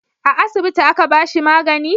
a asibiti a ka bashi magani?